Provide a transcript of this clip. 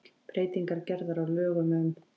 Breytingar gerðar á lögum um